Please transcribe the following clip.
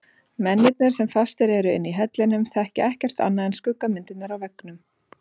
Mennirnir sem fastir eru inni í hellinum þekkja ekkert annað en skuggamyndirnar á veggnum.